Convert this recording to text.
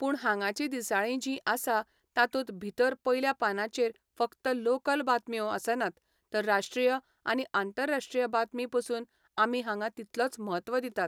पूण हांगाची दिसाळीं जीं आसा तातूंत भितर पयल्या पानांचेर फकत लाॅकल बातम्यो आसनात तर राष्ट्रीय आनी आंतरराष्ट्रीय बातमी पसून आमी हांगां तितलोच महत्व दितात